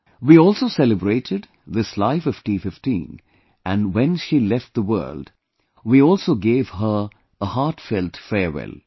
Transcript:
We also celebrated this life of T15 and when she left the world, we also gave her a heartfelt farewell